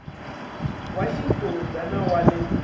wa xifundza na wa le